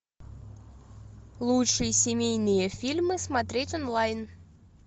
лучшие семейные фильмы смотреть онлайн